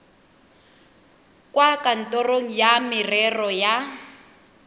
kwa kantorong ya merero ya